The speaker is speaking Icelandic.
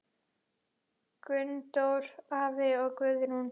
Gunndór afi og Guðrún.